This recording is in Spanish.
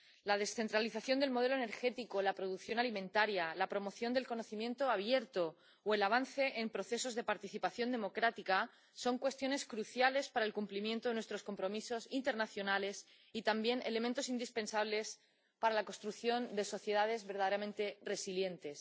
La descentralización del modelo energético, la producción alimentaria, la promoción del conocimiento abierto o el avance en procesos de participación democrática son cuestiones cruciales para el cumplimiento de nuestros compromisos internacionales y, también, elementos indispensables para la construcción de sociedades verdaderamente resilientes.